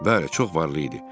Bəli, çox varlı idi.